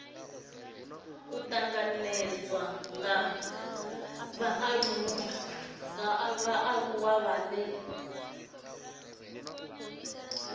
u tanganedzwa ha vhaaluwa vhane